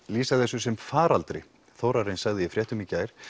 lýsa þessu sem faraldri Þórarinn sagði í fréttum í gær